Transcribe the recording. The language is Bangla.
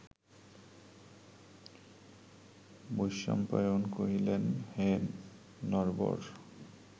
বৈশম্পায়ন কহিলেন, হে নরবর